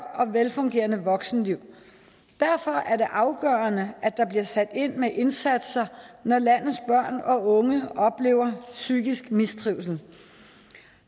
og velfungerende voksenliv derfor er det afgørende at der bliver sat ind med indsatser når landets børn og unge oplever psykisk mistrivsel